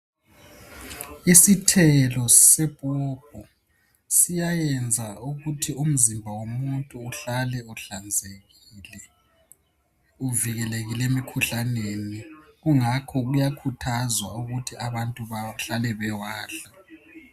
Isithelo sepopo siyayenza ukuthi umzimba womuntu uhlale uhlanzekile, uvikelekile emikhuhlaneni. Kungakho kuyakhuthazwa ukuthi abantu bahlale bewadla.